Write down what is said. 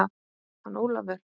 Hann Ólafur?